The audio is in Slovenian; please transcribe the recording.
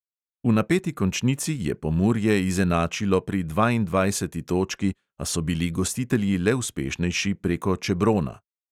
V napeti končnici je pomurje izenačilo pri dvaindvajseti točki, a so bili gostitelji le uspešnejši preko čebrona.